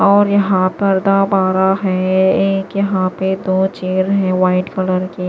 और यहां पर दा पा रहा है एक यहां पे दो चेयर हैं वाइट कलर कि --